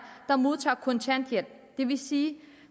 der modtager kontanthjælp det vil sige